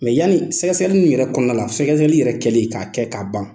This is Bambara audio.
Mɛ yanni sɛgɛsɛgɛli ni yɛrɛ kɔnɔna, sɛgɛsɛgɛli yɛrɛ kɛlen k'a kɛ ka ban